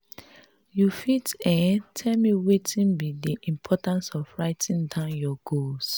you fit um tell me wetin be di importance of writing down your goals?